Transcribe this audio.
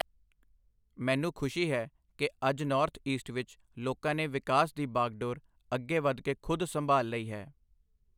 ਮੈਨੂੰ ਖੁਸ਼ੀ ਹੈ ਕਿ ਅੱਜ ਨੌਰਥ ਈਸਟ ਵਿੱਚ ਲੋਕਾਂ ਨੇ ਵਿਕਾਸ ਦੀ ਬਾਗਡੋਰ ਅੱਗੇ ਵੱਧ ਕੇ ਖ਼ੁਦ ਸੰਭਾਲ਼ ਲਈ ਹੈ।